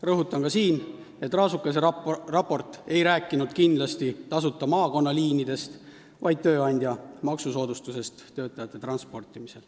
Rõhutan ka siin, et Raasukese raport ei rääkinud kindlasti tasuta maakonnaliinidest, vaid maksusoodustusest, mida peab saama tööandja, kes ise oma töötajaid transpordib.